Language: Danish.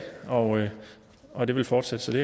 og og det vil fortsætte så det